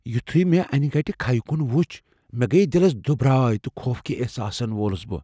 یٗتھٖیہ مے٘ انہِ گٹہِ كھیہ كٗن وٗچھ ، مے٘ گیہ دِلس دٗبرایہ ، تہٕ خوفٕكہِ احساسن وولٗس بہٕ ۔